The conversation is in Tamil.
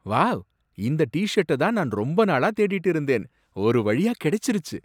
வாவ் இந்த டி ஷர்ட்ட தான் நான் ரொம்ப நாளா தேடிட்டு இருந்தேன். ஒருவழியா கிடைச்சிருச்சு.